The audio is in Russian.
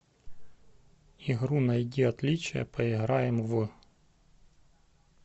игру найди отличия поиграем в